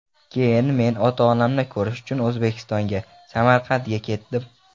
Keyin men ota-onamni ko‘rish uchun O‘zbekistonga, Samarqandga ketdim.